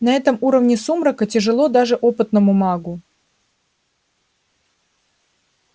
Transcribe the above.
на этом уровне сумрака тяжело даже опытному магу